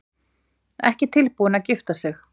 Ekki tilbúin til að gifta sig